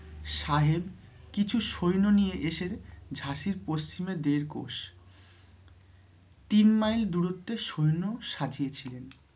সাহেব কিছু সৈন্য নিয়ে এসে ঝাঁসির পশ্চিমে দেড় কোষ তিন মাইল দূরত্বে সৈন্য সাজিয়েছিলেন।